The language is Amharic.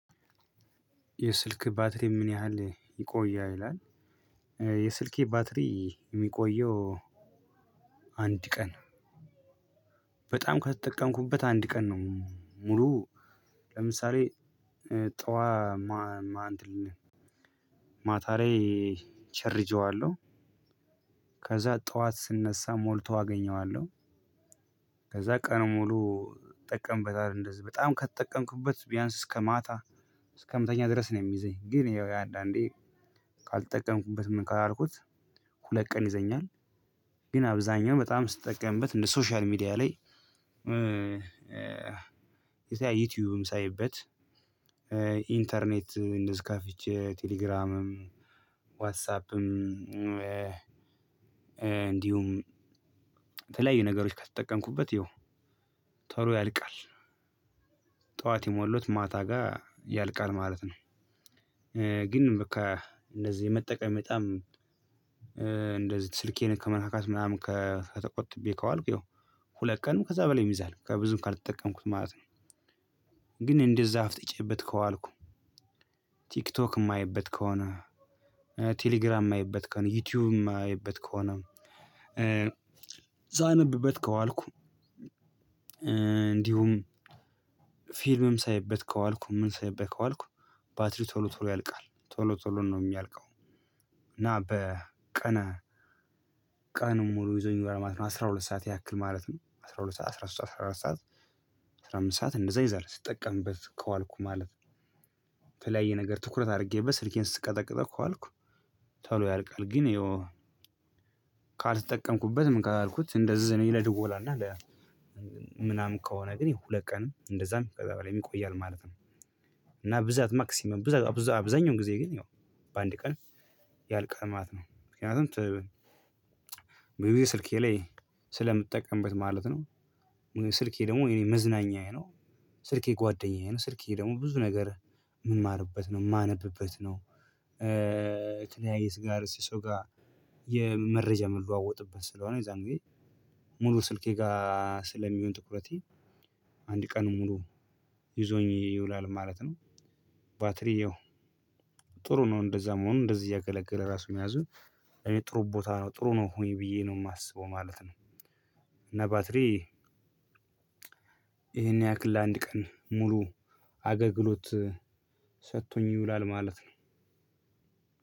የስልክ ባትሪ ምን ያህል ይቆያል? ይላል የስልኬ ባትሪ የሚቆየው አንድ ቀን በጣም ከተጠቀምኩበት አንድ ቀን ነው። ሙሉ ለምሳሌ ጥዋት ማታ ላይ እቸርጀዋለሁ ከዛ ጥዋት ስነሳ ሞልቶ አገኘዋለሁ። ከዛ ቀን ሙሉ እጠቀምበታለሁ እንደዚህ በጣም ከተጠቀምኩበት ቢያንስ እስከ ማታ እስከ ምተኛ ድረስ ነው የሚይዘኝ ግን ያው አንዳንዴ ካልተጠቀምኩበት ምን ካላልኩት ሁለት ቀን ይዘኛል። ግን አብዛኛው በጣም ስጠቀምበት እንደ ሶሻል ሚዲያ ላይ ይሄ ዩቲዩብም ሳይበት ኢንተርኔት እንደዝህ ከፍቼ ቴሌግራምም ዋትሳፕም እንዲሁም የተለያዩ ነገሮች ከተጠቀምኩበት የው ቶሎ ያልቃል። ጥዋት የሞላሁትት ማታ ጋር ያልቃል ማለት ነው። ግን በቃ እንደዚህ መጠቀም በጣም እንደዚህ ስልኬን ከመነካካት ምናምን ተቆጥቤ ከዋልኩ ያው ሁለት ቀንም ከዛ በላይም ይይዛል ብዙም ካልተጠቀምኩት ማለት ነው ግን እንደዝህ አፍጥጬበት ከዋልኩ ቲክቶክ የማየበት ከሆነ ቴሌግራም የማይበት ከሆነ ዩቲዩብ የማይበት ከሆነ ሳነብበት ከዋልኩ እንዲሁም ፊልምም ሳይበት ከዋልኩ ምን ሳይበት ከዋልኩ ባትሪ ቶሎ ቶሎ ያልቃል ቶሎ ቶሎ ነው የሚያልቀው እና በቀን ቀን ሙሉ ይዞኝ ማለት ነው። አስራ ሁለት ሰዓት ያክል ማለት ነው አስራ ሁለት ሰዓት አስራ ሶስት አስራ አራት ሰዓት አስራ አምስት ሰዓት እንደዛ ይዘህ ስጠቀምበት ከዋልኩ ማለት ነው። የተለያየ ነገር ትኩረት አድርጌበት ስልኬን ስቀጠቅጠው ከዋልኩ ቶው ያልቃል ግን የው ካልተጠቀምኩበት ምን ካልኩት እንደዚህ እኔ ለድወላ እና ምናምን ከሆነ ግን ሁለት ቀንም እንደዛም ከዚያ በላይም ይቆያል ማለት ነው እና ብዛት ማክሲመም ብዛት አብዛኛውን ጊዜ ግን ያው በአንድ ቀን ያልቃል ማለት ነው። ምክንያቱም ስልኬ ላይ ስለምጠቀምበት ማለት ነው። ስልኬ ደግሞ የኔ መዝናኛዬ ነው ስልኬ ጓደኛዬ ስልኬ ደግሞ ብዙ ነገር የምማርበት ነው የማነብበት ነው የተለያየ ሰው ጋር የመረጃ የምለዋወጥበት ስለሆነ የዛን ጊዜ ሙሉ ስልኬ ጋር ስለሚሆን ትኩረቴ አንድ ቀን ሙሉ ይዞኝ ይውላል ማለት ነው። ባትሪ ያው ጥሩ ነው እንደዛ መሆኑ እንደዚህ እያገለገለ ራሱ መያዙ ጥሩ ቦታ ነው። ጥሩ ነው ብዬ ነው የማስበው ማለት ነው እና ባትሪ ይሄን ያክል ለአንድ ቀን ሙሉ አገግሎት ሰጥቶኝ ይውላል ማለት ነው።